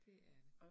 Det er det